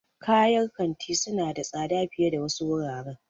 Kayar kanti suna da tsada fiye da wasu wuraren.